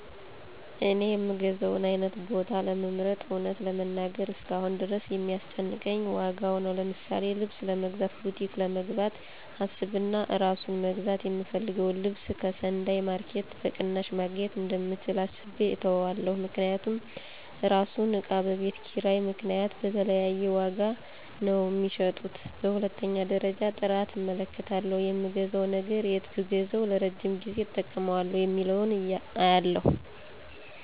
እኔ የምገዛውን አይነት ቦታ ለመምረጥ እውነት ለመናገር እስካሁን ድረስ የሚያስጨንቀኝ ዋጋው ነው። ለምሳሌ ልብስ ለመግዛት ቡቲክ ለመግባት አስብና አራሱን መግዛት የምፈልገውን ልብስ ከሰንዳይ ማረኬት በቅናሽ መግኘት እንደምችል አስቤ እተወዋለሁ። ምክንያቱም እራሱን እቃ በቤት ኪራይ ምክንያት በተለያየ ዋጋ ነው ሚሸጡት። በሁለተኛ ደረጃ ጥራት እመለከታለሁ የምገዛው ነገር የት ብገዛዉ ለረጅም ጊዜ እጠቀመዋለሁ የሚለውን አያለሁ።